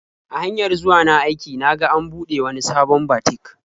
A hanyar zuwa na aiki na ga an buɗe wani sabon batik.